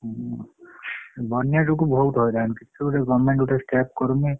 ହୁଁ ବନ୍ୟା ଯୋଗୁ ବହୁତ ହଇରାଣ government କିଛି step କରୁନି।